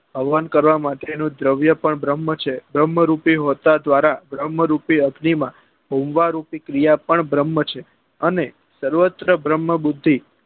હવન કરવા માટે નું દ્રવ્ય છે પણ ભ્રમ્હ છે ભ્રમ રૂપી હોતા દ્વારા ભ્રમ રૂપી અગ્નિ માં ભરમાં રૂપી ક્રિયા પણ ભ્રમ છે અને સર્વત્ર ભ્રમ બુદ્ધિ